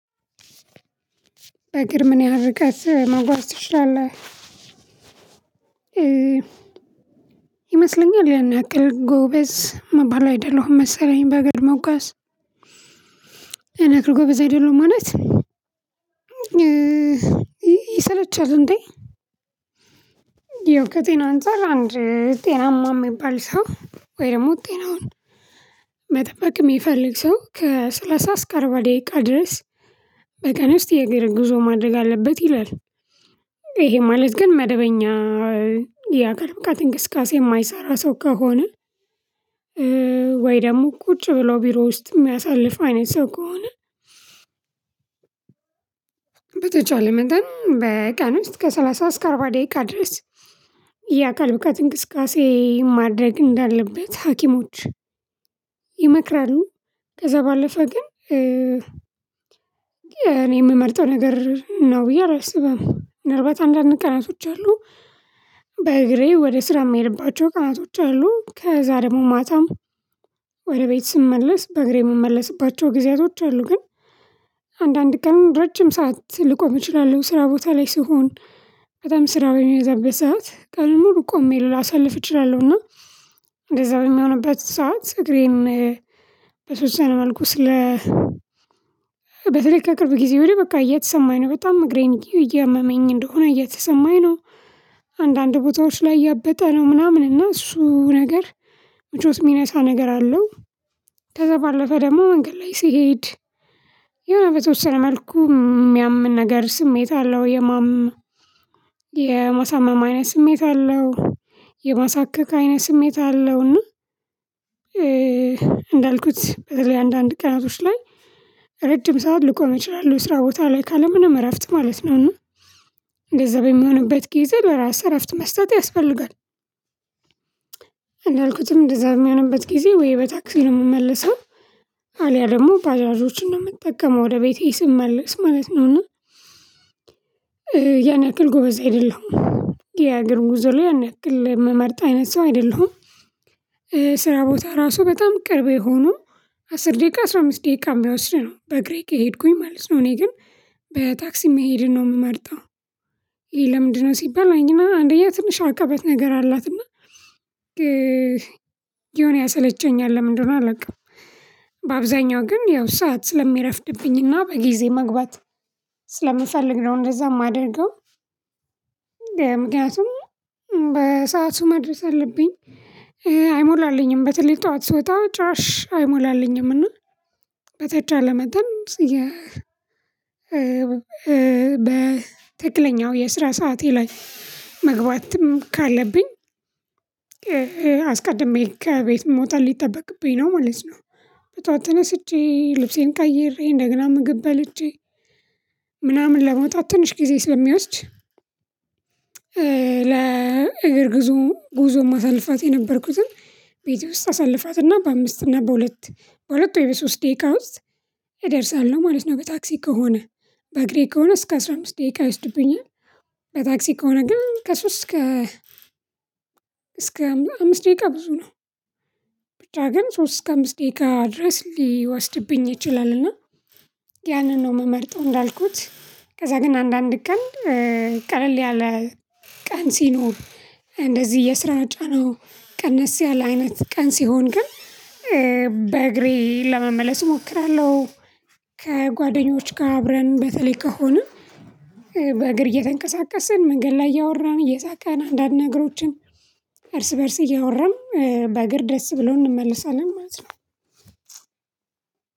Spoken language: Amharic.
በእግር ምን ያህል ርቀት መጓዝ ትችላለህ ይመስለኛል ያን ያክል ጎበዝ ምባል አይደለሁም መሰለኝ በግር መጓዝ። ያን ያክል ጎበዝ አይደለሁም ማለት። ይሰለቻል እንዴ። ያው ከጤና አንፃር አንድ ጤናማ የሚባል ሰው ወይ ደግሞ ጤናውን መጠበቅ የሚፈልግ ሰው ከሠላሳ እስከ አርባ ደቂቃ ድረስ በቀን ውስጥ የእግር ጉዞ ማድረግ አለበት ይላል። ይሄ ማለት ግን መደበኛ ያካል ብቃት እንቅስቃሴ የማይሰራ ሰው ከሆነ። ወይ ደግሞ ቁጭ ብሎ ቢሮ ውስጥ የሚያሳልፍ አይነት ሰው ከሆነ። በተቻለ መጠን በቀን ውስጥ ከሠላሳ እስከ አርባ ደቂቃ ድረስ የአካል ብቃት እንቅስቃሴ ማድረግ እንዳለበት ሀኪሞች ይመክራሉ። ከዛ ባለፈ ግን እኔ የምመርጠው ነገር ነው ብዬ አላስብም ምናልባታ አንዳንድ ቀናቶች አሉ። በእግሬ ወደ ስራ የሚሄድባቸው ቀናቶች አሉ ከዛ ደግሞ ማታም ወደ ቤት ስመለስ በእግሬ የምመለስባቸው ጊዜያቶች አሉ። ግን አንዳንድ ቀን ረጅም ሰዓት ልቆም እችላለሁ ስራ ቦታ ላይ ስሆን። በጣም ስራ በሚያዘበት ሰዓት ቀኑ ሙሉ ቆሜ ላሳልፍ እችላለሁና። እንደዛ በሚሆንበት ሰዓት እግሬን በተወሰነ መልኩ ስለ በተለይ ከቅርብ ጊዜ ወዲህ በቃ እየተሰማኝ ነው በጣም እግሬን እያመመኝ እንደሆነ እየተሰማኝ ነው። አንዳንድ ቦታዎች ላይ ያበጠ ምናምን እና እሱ ነገር ምቾት የሚነሳ ነገር አለው። ከዛ ባለፈ ደግሞ መንገድ ላይ ስሄድ። የሆነ በተወሰ መልኩ የሚያምን ነገር ስሜት አለው የማም የማሳመም አይነ ስሜት አለው። የማሳከክ አይነ ስሜት አለው እና። እንዳልኩት በተለይ አንዳንድ ቀናቶች ላይ ረጅም ሰዓት ልቆም እችላለው ስራ ቦታ ላይ ካለ ምንም እረፍት ማለት ነው እና። እንደዛ በምሆንበት ጊዜ ለራስ እረፍት መስጠት ያስፈልጋል። እንዳልኩትም እንደዛ በሚሆንበት ጊዜ ወይ በታክሲ ነው ምመለሰው። አልያ ደግሞ ባጃጆችን ነው የምጠቀመው ወደ ቤቴ ስመለስ ማለት ነውና። ያን ያክል ጎበዝ አይደለሁም። የእግር ጉዞ ላይ ያን ያክል ምመርጥ አይነት ሰው አይደለሁም። ስራ ቦታ ራሱ በጣም ቅርቤ ሆኖ አስር ደቂቃ አስራ አምስት ደቂቃ የሚወስድ ነው በእግሬ ከሄድኩኝ ማለት ነው። እኔ ግን በታክሲ መሄድን ነው የምመርጠው። ለምንድነው ሲባል አንደኛ ትንሽ አቀበት ነገር አላትና። ዮነ ያሰለቸኛል ለምንድነው አላውቅም። በአብዛኛው ግን ያው ሰዓት ስለሚረፍድብኝና በጊዜ መግባት ስለምፈልግ ነው እንደዛ የማደርገው። ምክንያቱም በሳቱ መድረስ አለብኝ። አይሞላልኝም በተለይ ጠዋት ስወጣ ጭራሽ አይሞላልኝም እና። በተቻለ መጠን የ በትክክለኛው የስራ ሰዓቴ ላይ መግባትም ካለብኝ። አስቀድሜ ከቤት መውጣት ሊጠበቅብኝ ነው ማለት ነው። በጠዋት ተነስቼ ልብሴን ቀይሬ እንደገና ምግብ በልቼ ምናምን ለመውጣት ትንሽ ጊዜ ስለሚወስድ። ለእግር ጉዞ ጉዞ ማሳልፋት የነበርኩትን ቤቴ ውስጥ አሳልፋትና በአምስት እና በሁለት በሁለት ወይ በሶስት ደቂቃ ውስጥ እደርሳለሁ ማለት ነው። በታክሲ ከሆነ። በእግሬ ከሆነ እስከ አስራ አምስት ደቂቃ ይወስድብኛል። በታክሲ ከሆነ ግን ከሶስት እስከ እስከ አምስት ደቂቃ ብዙ ነው። ብቻ ግን ሶስት እስከ አምስት ደቂቃ ድረስ ሊወስድብኝ ይችላልና። ያንን ነው ምመርጠው እንዳልኩት። ከዛ ግን አንዳንድ ቀን ቀለል ያለ ቀን ሲኖር እንደዚህ የስራ ጫናው ቀነስ ያለ አይነት ቀን ሲሆን ግን በእግሬ ለመመለስ እሞክራለሁ። ከጓደኞች ጋር አብረን በተለይ ከሆነ። በእግር እየተንቀሳቀስን መንገድ ላይ እያወራን እየሳቀን አንዳንድ ነገሮችን እርስ በእርስ እያወራን በእግር ደስ ብሎን እንመለሳለን ማለት ነው።